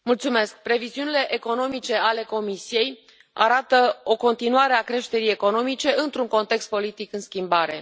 Domnule președinte, previziunile economice ale Comisiei arată o continuare a creșterii economice într un context politic în schimbare.